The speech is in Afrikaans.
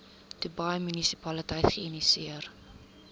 dubai munisipaliteit geïnisieer